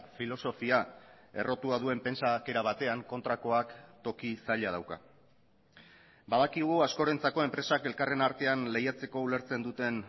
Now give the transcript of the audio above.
filosofia errotua duen pentsakera batean kontrakoak toki zaila dauka badakigu askorentzako enpresak elkarren artean lehiatzeko ulertzen duten